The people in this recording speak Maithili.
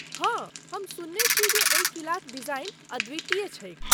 हाँ, हम सुनने छी जे ओहि किलाक डिजाइन अद्वितीय छैक।